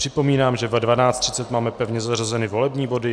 Připomínám, že ve 12.30 máme pevně zařazeny volební body.